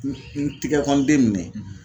n n tigɛkɔɔn den nin dɛ